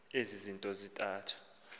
ezi zinto zintathu